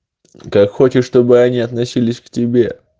как хочешь чтобы они относились к тебе